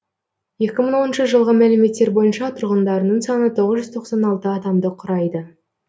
екі мың оныншы жылғы мәліметтер бойынша тұрғындарының саны тоғыз жүз тоқсан алты адамды құрайды